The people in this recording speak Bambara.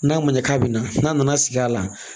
N'a ma ɲɛ k'a bɛ na n'a nana sigi a la